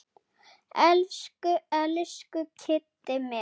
Elsku, elsku Kiddi minn.